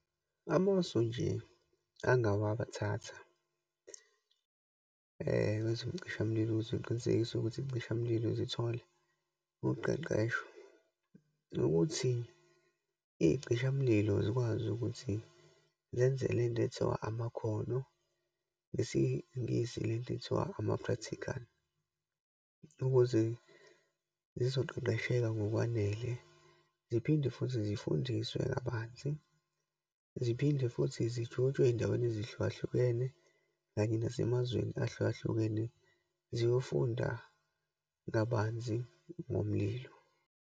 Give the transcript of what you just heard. Amasu nje angawa bathatha wezocishamlilo, ukuze uqinisekise ukuthi isicishamlilo zithole uqeqesho, ukuthi iyicishamlilo zikwazi ukuthi zenze le nto ekuthiwa amakhono ngesiNgisi, le nto ekuthiwa ama-practical, ukuze zizoqoqesheka ngokwanele, ziphinde futhi zifundiswe kabanzi, ziphinde futhi zijujwe eyindaweni ezihlukahlukene, kanye nasemazweni ahlukahlukene ziyofunda kabanzi ngomlilo.